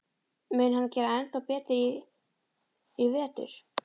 Mun hann gera ennþá betur í vetur?